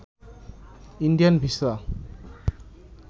Indian visa